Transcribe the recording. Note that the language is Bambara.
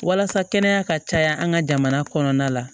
Walasa kɛnɛya ka caya an ka jamana kɔnɔna la